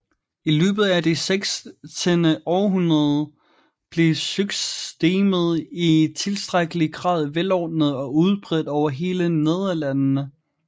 I løbet af det sekstende århundrede blev systemet i tilstrækkelig grad velordnet og udbredt over hele Nederlandene